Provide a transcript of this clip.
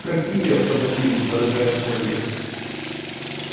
какие автомобили дорогая молли